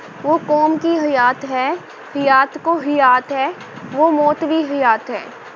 ਵੋਹ ਕੌਮ ਕੀ ਹਯਾਤ ਹੈ, ਹਿਯਾਤ ਕੋ ਹਿਯਾਤ ਹੈ ਵੋਹ ਮੌਤ ਵੀ ਹਿਯਾਤ ਹੈ।